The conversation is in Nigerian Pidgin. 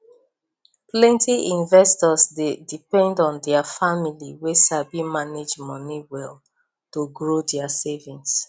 plenty investors dey depend on their family wey sabi manage money well to grow their savings